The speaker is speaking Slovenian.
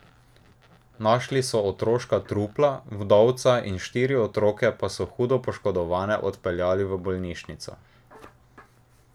Našli so tri otroška trupla, vdovca in štiri otroke pa so hudo poškodovane odpeljali v bolnišnico.